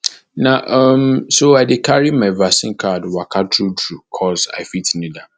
na um so i dey um carry my vaccine card waka true true coz i fit need am